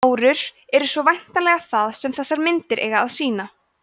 árur eru svo væntanlega það sem þessar myndir eiga að sýna